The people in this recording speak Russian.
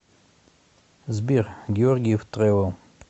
сбер георгиев трэвел